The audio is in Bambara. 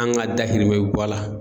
An ga dahirimɛ bi bɔ a la